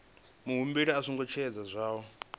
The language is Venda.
muhumbeli a songo tevhedza zwohe